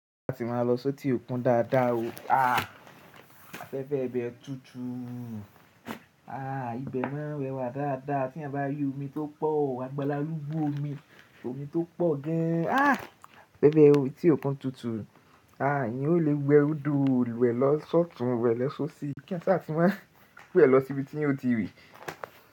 A ti máa lọ si eti òkun dáadáa o. A fẹ́fẹ́ ibẹ́ tútù. Àh! Ibẹ̀ máa rẹwà dáadáa tí eeyan bá rí omi tó pọ̀. Po, agbalálúgbó omi, omi tó pọ̀ gan an. Afẹ́fẹ́ eti òkun tútù. A! Eyan o le wẹ́ odo wẹ̀ lọ sọ́tùùn, wẹ̀ lọ sóṣì. Kí eyan sa tí máa wẹ̀ lọ síbi tí eyan ò ti rí.